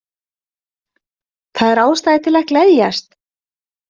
Það er ástæða til að gleðjast.